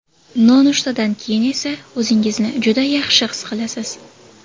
Nonushtadan keyin esa o‘zingizni juda yaxshi his qilasiz.